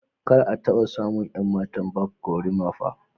kar a taɓa samun 'yan matan Barb gorimapa